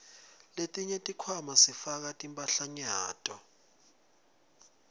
letinye tikhwama sifaka timphahlanyato